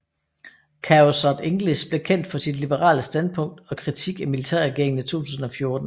Khaosod English blev kendt for sit liberale standpunkt og kritik af militærregeringen i 2014